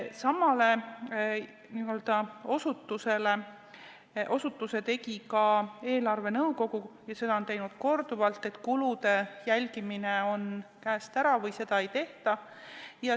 Sama osutuse tegi ka eelarvenõukogu , et kulude jälgimine on käest ära või seda ei tehta.